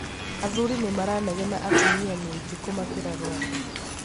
athuri nĩmaranegena atumia nĩaingĩ kumakĩra Rwanda